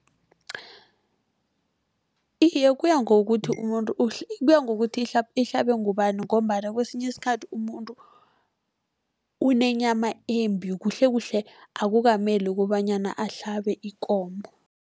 Iye, kuya ngokuthi umuntu, kuya ngokuthi ihlabe ngubani, ngombana kesinye isikhathi umuntu unenyama embi. Kuhlekuhle akukameli kobanyana ahlabe ikomo.